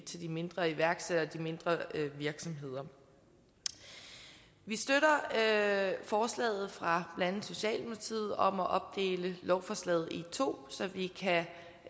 til de mindre iværksættere og de mindre virksomheder vi støtter forslaget fra blandt andet socialdemokratiet om at opdele lovforslaget i to så vi